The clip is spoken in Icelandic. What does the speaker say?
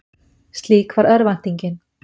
Slík var örvæntingin.